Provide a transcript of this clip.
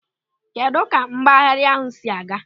Kedụ ka mgbagharị ahụ si aga?